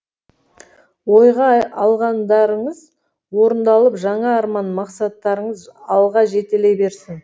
ойға алғандарыңыз орындалып жаңа арман мақсаттарыңыз алға жетелей берсін